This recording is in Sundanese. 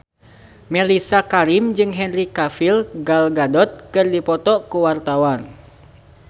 Mellisa Karim jeung Henry Cavill Gal Gadot keur dipoto ku wartawan